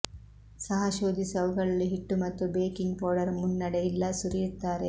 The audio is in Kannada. ಸಹ ಶೋಧಿಸಿ ಅವುಗಳಲ್ಲಿ ಹಿಟ್ಟು ಮತ್ತು ಬೇಕಿಂಗ್ ಪೌಡರ್ ಮುನ್ನಡೆ ಇಲ್ಲ ಸುರಿಯುತ್ತಾರೆ